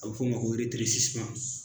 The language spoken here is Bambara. A bɛ f'o ma